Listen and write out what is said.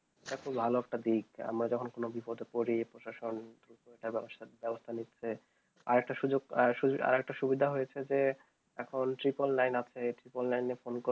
এইটা খুব ভালো একটা দিক আমরা যখন কোনো বিপদে পড়ি প্রশাসন তার ব্যবস্থা ব্যবস্থা নিচ্ছে আর একটা সুযোগ আর একটা সুবিধা হয়েছে যে এখন triple nine আছে, এই triple nine এ phone করলে